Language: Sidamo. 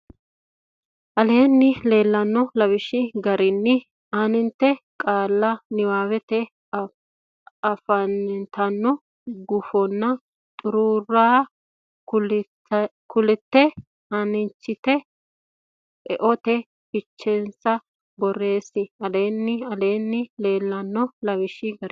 Aleenni leellanno lawishshi garinni aante qaalla niwaawete afantanno gufonna xuruura kultine aanchitine eote fichensa borreesse Aleenni Aleenni leellanno lawishshi garinni.